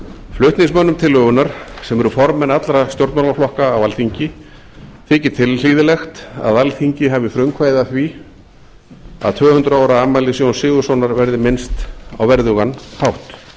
flutningsmönnum tillögunnar sem eru formenn allra stjórnmálaflokka á alþingi þykir tilhlýðilegt að alþingi hafi frumkvæði að því að tvö hundruð ára afmælis jóns sigurðssonar verði minnst á verðugan hátt